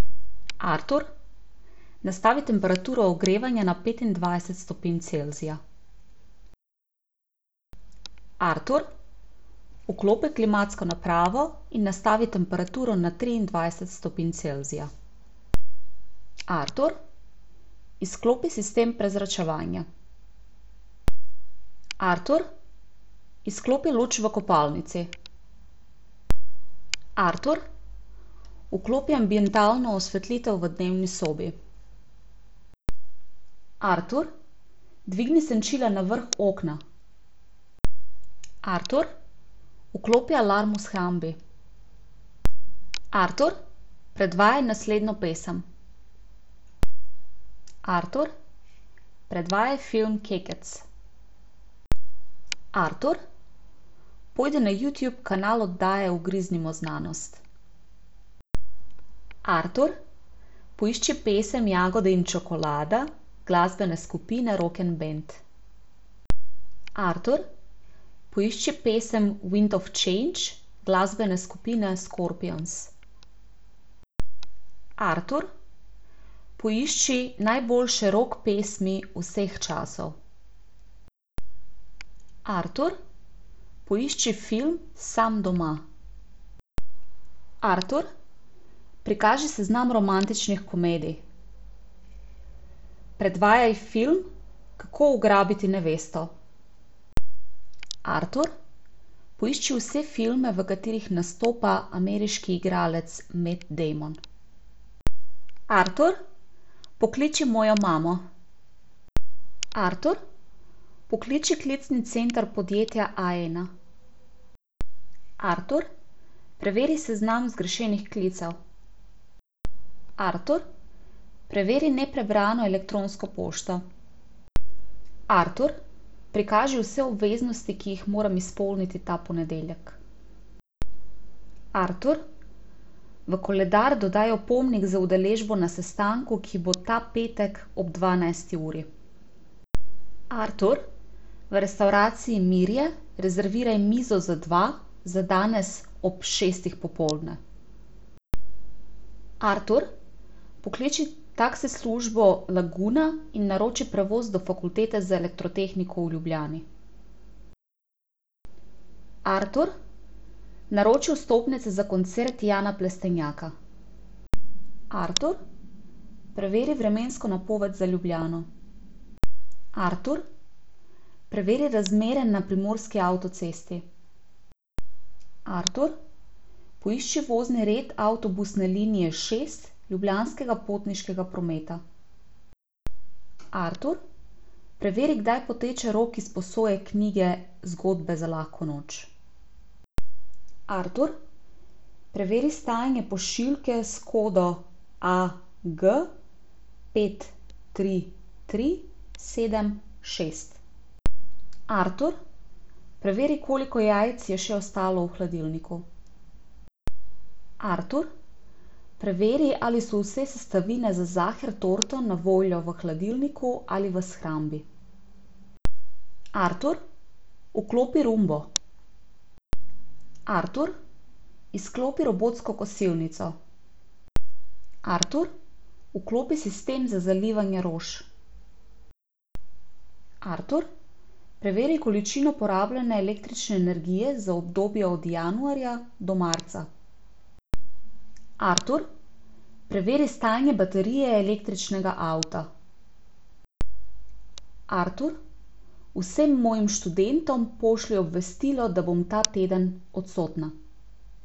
Artur, nastavi temperaturo ogrevanja na petindvajset stopinj Celzija. Artur, vklopi klimatsko napravo in nastavi temperaturo na triindvajset stopinj Celzija. Artur, izklopi sistem prezračevanja. Artur, izklopi luč v kopalnici. Artur, vklopi ambientalno osvetlitev v dnevni sobi. Artur, dvigni senčila na vrh okna. Artur, vklopi alarm v shrambi. Artur, predvajaj naslednjo pesem. Artur, predvajaj film Kekec. Artur, pojdi na Youtube kanal oddaje Ugriznimo znanost. Artur, poišči pesem Jagode in čokolada glasbene skupine Rok'n'Band. Artur, poišči pesem Wind of change glasbene skupine Scorpions. Artur, poišči najboljše rock pesmi vseh časov. Artur, poišči film Sam doma. Artur, prikaži seznam romantičnih komedij. Predvajaj film Kako ugrabiti nevesto. Artur, poišči vse filme, v katerih nastopa ameriški igralec Matt Damon. Artur, pokliči mojo imamo. Artur, pokliči klicni center podjetja Aena. Artur, preveri seznam zgrešenih klicev. Artur, preveri neprebrano elektronsko pošto. Artur, prikaži vse obveznosti, ki jih moram izpolniti ta ponedeljek. Artur, v koledar dodaj opomnik z udeležbo na sestanku, ki bo ta petek ob dvanajsti uri. Artur, v restavraciji Mirje rezerviraj mizo za dva za danes ob šestih popoldne. Artur, pokliči taksi službo Laguna in naroči prevoz do Fakultete za elektrotehniko v Ljubljani. Artur, naroči vstopnice za koncert Jana Plestenjaka. Artur, preveri vremensko napoved za Ljubljano. Artur, preveri razmere na primorski avtocesti. Artur, poišči vozni red avtobusne linije šest Ljubljanskega potniškega prometa. Artur, preveri, kdaj poteče rok izposoje knjige Zgodbe za lahko noč. Artur, preveri stanje pošiljke s kodo a, g pet, tri, tri, sedem, šest. Artur, preveri, koliko jajc je še ostalo v hladilniku. Artur, preveri, ali so vse sestavine za saher torto na voljo v hladilniku ali v shrambi. Artur, vklopi roombo. Artur, izklopi robotsko kosilnico. Artur, vklopi sistem za zalivanje rož. Artur, preveri količino porabljene električne energije za obdobje od januarja do marca. Artur, preveri stanje baterije električnega avta. Artur, vsem mojim študentom pošlji obvestilo, da bom ta teden odsotna.